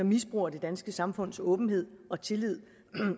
misbruger det danske samfunds åbenhed og tillid